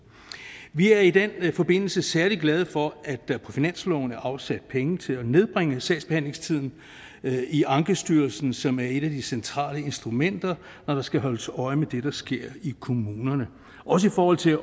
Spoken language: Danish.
vi er i den forbindelse særlig glade for at der på finansloven er afsat penge til at nedbringe sagsbehandlingstiden i ankestyrelsen som er et af de centrale instrumenter når der skal holdes øje med det der sker i kommunerne også i forhold til